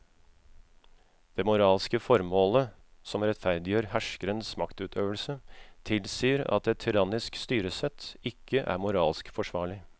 Det moralske formålet som rettferdiggjør herskerens maktutøvelse tilsier at et tyrannisk styresett ikke er moralsk forsvarlig.